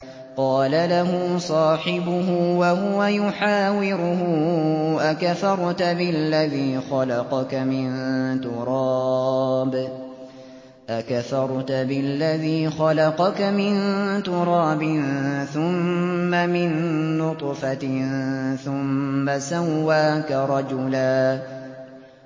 قَالَ لَهُ صَاحِبُهُ وَهُوَ يُحَاوِرُهُ أَكَفَرْتَ بِالَّذِي خَلَقَكَ مِن تُرَابٍ ثُمَّ مِن نُّطْفَةٍ ثُمَّ سَوَّاكَ رَجُلًا